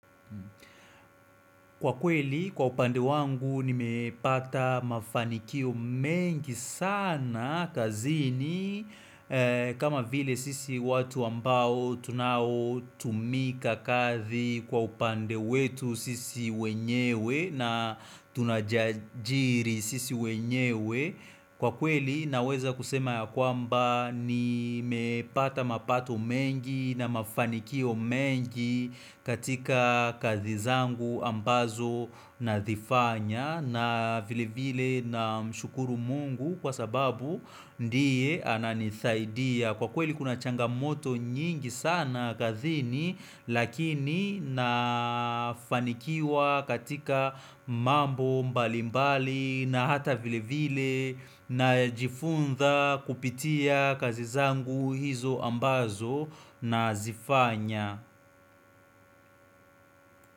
Kwa kweli, kwa upande wangu, nimepata mafanikio mengi sana kazini, kama vile sisi watu ambao tunao tumika kazi kwa upande wetu sisi wenyewe na tunajiajiri sisi wenyewe. Kwa kweli naweza kusema ya kwamba nimepata mapato mengi na mafanikio mengi katika kazi zangu ambazo nazifanya na vile vile namshukuru mungu kwa sababu ndiye ananisaidia. Kwa kweli kuna changamoto nyingi sana kazini lakini nafanikiwa katika mambo mbalimbali na hata vile vile na jifunza kupitia kazi zangu hizo ambazo na zifanya.